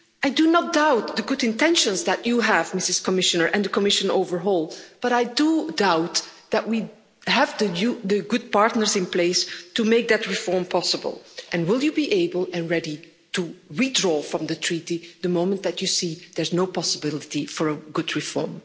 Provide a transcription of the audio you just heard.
I do not doubt the good intentions that the Commissioner has, and the Commission overall, but I do doubt that we have the good partners in place to make that reform possible will you be able and ready to withdraw from the treaty the moment that you see there is no possibility for a good reform?